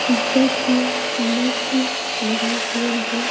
ऊपर से नेट लगा हुआ है।